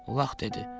Ulaq dedi.